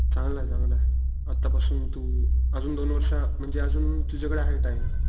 चांगलंय चांगलंय आत्ता पासून तू आजून दोन वर्ष म्हणजे आजून तुझ्या कडे आहे टाइम.